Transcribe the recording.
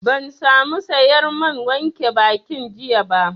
Ban sa mu sayar man wanke bakin jiya ba